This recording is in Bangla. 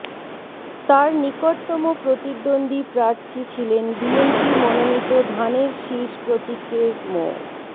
তার নিকটতম প্রতিদ্বন্দ্বী প্রার্থী ছিলেন বিএনপি মনোনিত ধানের শীষ প্রতীকের মো